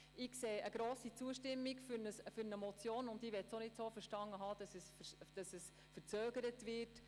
Ich sehe eine grosse Zustimmung für eine Motion, die ich nicht so verstanden haben will, als dass sie zu Verzögerungen führen würde.